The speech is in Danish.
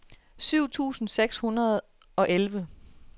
syv tusind seks hundrede og elleve